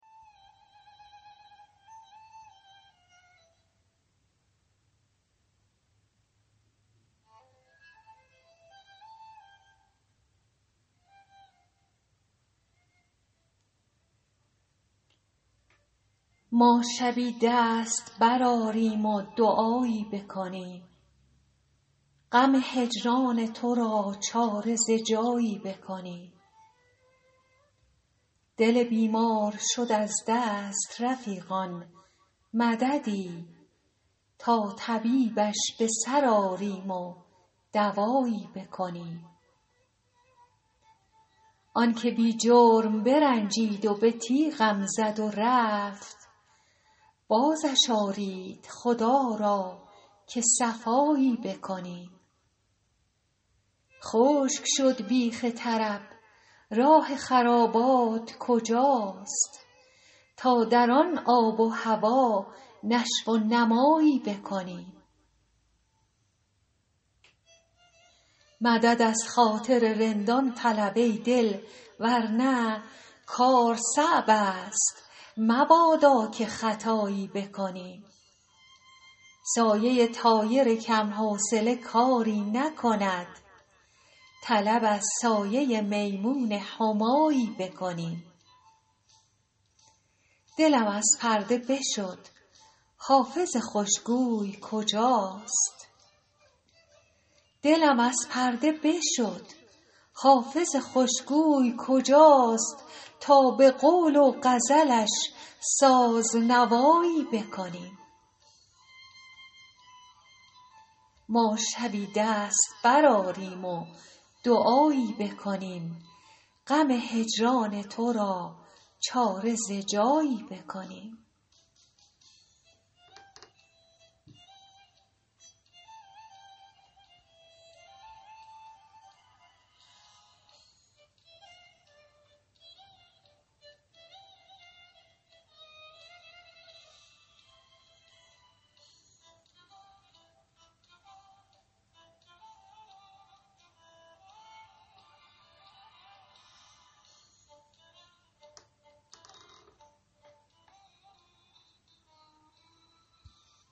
ما شبی دست برآریم و دعایی بکنیم غم هجران تو را چاره ز جایی بکنیم دل بیمار شد از دست رفیقان مددی تا طبیبش به سر آریم و دوایی بکنیم آن که بی جرم برنجید و به تیغم زد و رفت بازش آرید خدا را که صفایی بکنیم خشک شد بیخ طرب راه خرابات کجاست تا در آن آب و هوا نشو و نمایی بکنیم مدد از خاطر رندان طلب ای دل ور نه کار صعب است مبادا که خطایی بکنیم سایه طایر کم حوصله کاری نکند طلب از سایه میمون همایی بکنیم دلم از پرده بشد حافظ خوش گوی کجاست تا به قول و غزلش ساز نوایی بکنیم